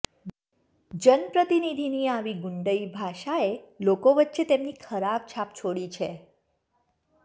જનપ્રતિનિધિની આવી ગુંડઈ ભાષા એ લોકો વચ્ચે તેમની ખરાબ છાપ છોડી છે